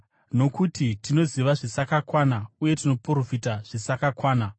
Nokuti tinoziva zvisakakwana uye tinoprofita zvisakakwana,